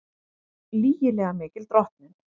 Lygilega mikil drottnun